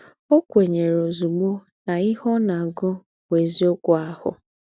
Ọ́ kwènyèrè ózùgbó ná íhe ọ́ ná-àgù bụ́ ézíọ́kù àhụ̀.